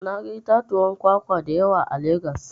Na ga itatuwan kwakwa da yawa a Legas.